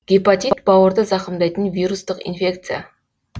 гепатит бауырды зақымдайтын вирустық инфекция